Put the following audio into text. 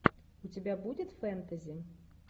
у тебя будет фэнтези